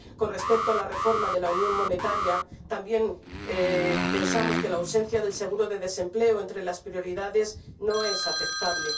Con respecto a la reforma de la unión monetaria, también pensamos que la no inclusión del seguro de desempleo entre las prioridades no es aceptable.